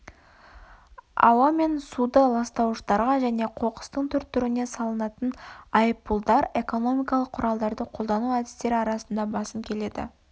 ауа мен суды ластауыштарға және қоқыстың түр-түріне салынатын айыппұлдар экономикалық құралдарды қолдану әдістері арасында басым келеді